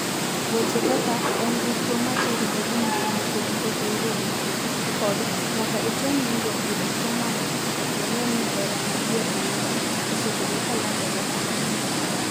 Weche kaka "en dichwo ma terore gi mon nikech pok oyudo dichwo" kod "nyaka item nindruok gi dichwo mondo ing'e ni 'hera madier' en ang'o" osebedo ka landore ahinya.